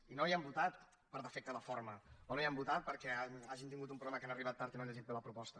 i no hi han votat per defecte en la forma o no hi han votat perquè hagin tingut un problema que han arribat tard i no han llegit bé la proposta